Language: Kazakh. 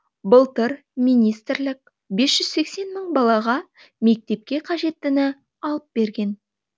былтыр министрлік бес жүз сексен мың балаға мектепке қажеттіні алып берген